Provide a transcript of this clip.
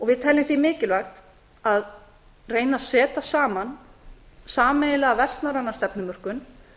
við teljum því mikilvægt að reyna að setja saman sameiginlega vestnorræna stefnumörkun